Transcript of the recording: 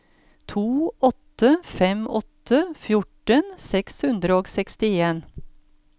to åtte fem åtte fjorten seks hundre og sekstien